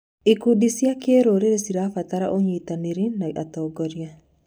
Ikundi cia kĩrũrĩrĩ cirabatara ũnyitanĩri na atongoria.